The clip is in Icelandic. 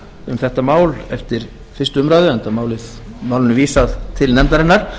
um þetta mál eftir fyrstu umræðu enda málinu vísað til nefndarinnar